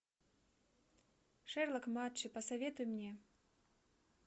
шерлок матчи посоветуй мне